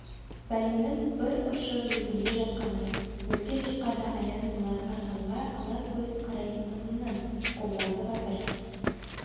бәленің бір ұшы өзімде жатқаны өзге жұртқа да аян болар арғынға ала көз қарайтындығымнан қобыланды батыр